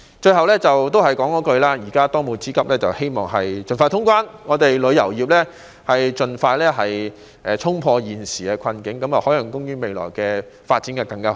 最後，還是同一句，現在當務之急是盡快通關，希望旅遊業可以盡快衝破現時的困境，海洋公園未來的發展便會更好。